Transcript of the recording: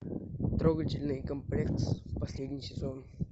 трогательный комплекс последний сезон